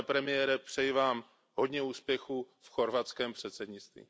Pane premiére, přeji Vám hodně úspěchů v chorvatském předsednictví.